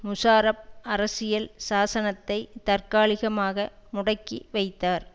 முஷராப் அரசியல் சாசனத்தை தற்காலிகமாக முடக்கி வைத்தார்